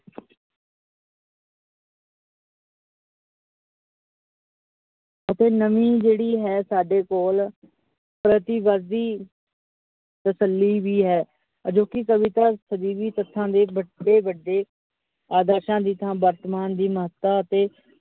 ਅਤੇ ਨਵੀ ਜਿਹੜੀ ਹੈ ਸਾਡੇ ਕੋਲ ਪ੍ਰਤੀਵਾਦੀ ਤਸੱਲੀ ਵੀ ਹੈ। ਅਜੋਕੀ ਕਵਿਤਾ ਸਦੀਵੀ ਤੱਥਾਂ ਦੇ ਵੱਡੇ ਵੱਡੇ ਆਦਰਸ਼ਾ ਦੀ ਥਾਂ ਵਰਤਮਾਨ ਦੀ ਮਹੱਤਤਾ ਅਤੇ